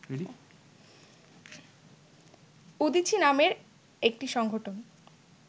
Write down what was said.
উদীচী নামের একটি সংগঠন